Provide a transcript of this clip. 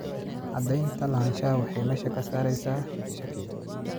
Cadaynta lahaanshaha waxay meesha ka saaraysaa shakiga.